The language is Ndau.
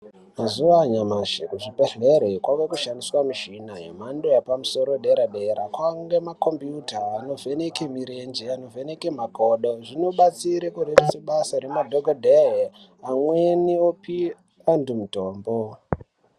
Mazuwa anyamashi kuzvibhedhleri kwakushandiswe michini yemhandoyepamusoro dera dera kwange makombiyuta anovheneke marenje anovheneke makodo zvinobatsire kureruse basa remadhokodhee amweni opi antu mutombo.